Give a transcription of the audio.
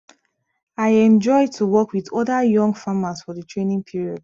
i enjoy to work with other young farmers for the training period